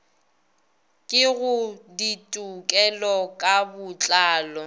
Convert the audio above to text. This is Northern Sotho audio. ke go ditekolo ka botlalo